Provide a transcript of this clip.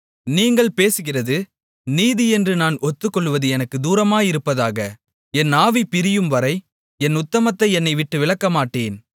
நீங்கள் பேசுகிறது நீதியென்று நான் ஒத்துக்கொள்வது எனக்குத் தூரமாயிருப்பதாக என் ஆவி பிரியும்வரை என் உத்தமத்தை என்னைவிட்டு விலக்கமாட்டேன்